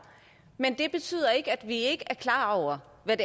men det betyder ikke at vi ikke er klar over hvad